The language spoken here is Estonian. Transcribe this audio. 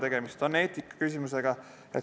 Tegemist on eetikaküsimusega.